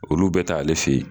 Olu bɛ taa ale fɛ ye.